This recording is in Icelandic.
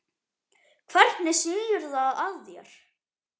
Hvernig snýr það að þér?